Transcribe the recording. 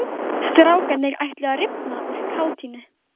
Strákarnir ætluðu að rifna úr kátínu.